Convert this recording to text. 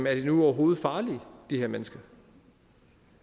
er de nu overhovedet farlige de her mennesker